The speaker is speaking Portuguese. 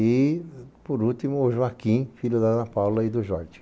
E, por último, o Joaquim, filho da Ana Paula e do Jorge.